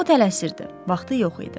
O tələsirdi, vaxtı yox idi.